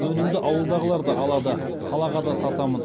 өнімді ауылдағылар да алады қалаға да сатамын